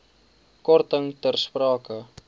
korting ter sprake